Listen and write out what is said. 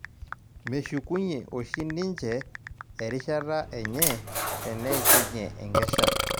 Meshukunye oshi ninje ersihata enye teneishunye enkesha